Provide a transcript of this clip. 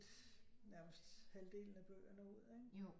Nærmest halvdelen af bøgerne ud ikke